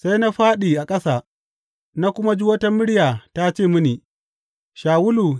Sai na fāɗi a ƙasa na kuma ji wata murya ta ce mini, Shawulu!